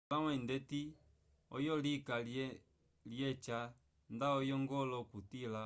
ombalãwu eyi ndeti oyo lika lyeca nda oyongola okutila